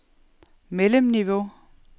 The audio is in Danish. mellemniveau